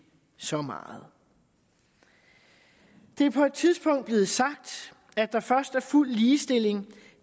så meget det er på et tidspunkt blevet sagt at der først er fuld ligestilling